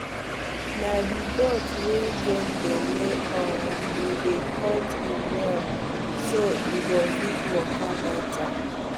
na the goat wey get belle um we dey cut im nail so e go fit waka better